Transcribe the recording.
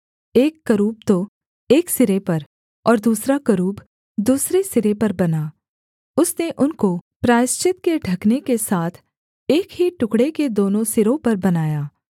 एक करूब तो एक सिरे पर और दूसरा करूब दूसरे सिरे पर बना उसने उनको प्रायश्चित के ढकने के साथ एक ही टुकड़े के दोनों सिरों पर बनाया